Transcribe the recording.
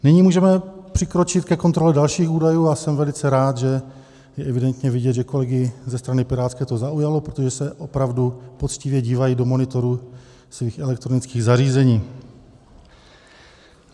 Nyní můžeme přikročit ke kontrole dalších údajů, a jsem velice rád, že je evidentně vidět, že kolegy ze strany pirátské to zaujalo, protože se opravdu poctivě dívají do monitorů svých elektronických zařízení.